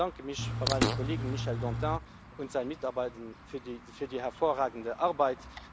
Ich bedanke mich bei meinem Kollegen Michel Dantin und seinen Mitarbeitern für die hervorragende Arbeit.